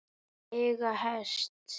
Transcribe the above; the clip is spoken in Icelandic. Eiga hest.